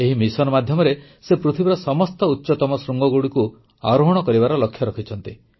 ଏହି ମିଶନ ମାଧ୍ୟମରେ ସେ ପୃଥିବୀର ସମସ୍ତ ଉଚ୍ଚତମ ଶୃଙ୍ଗଗୁଡ଼ିକୁ ଆରୋହଣ କରିବାର ଲକ୍ଷ୍ୟ ରଖିଛନ୍ତି